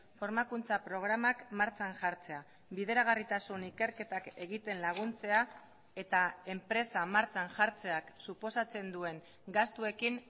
formakuntza programak martxan jartzea bideragarritasun ikerketak egiten laguntzea eta enpresa martxan jartzeak suposatzen duen gastuekin